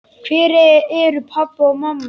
Hvar eru pabbi og mamma?